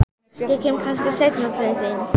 Neyddist til að hægja á ferðinni.